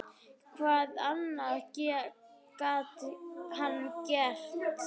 Hvað annað gat hann gert?